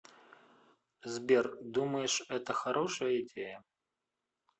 сбер думаешь это хорошая идея